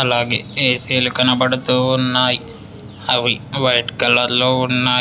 అలాగే ఏసీలు కనపడుతూ ఉన్నాయ్ అవి వైట్ కలర్లో ఉన్నాయ్.